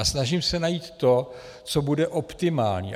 A snažím se najít to, co bude optimální.